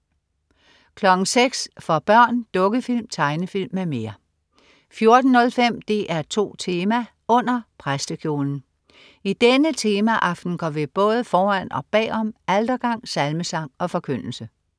06.00 For børn. Dukkefilm, tegnefilm m.m 14.05 DR2 Tema: Under præstekjolen. I denne temaaften går vi både foran og bag om altergang, salmesang og forkyndelse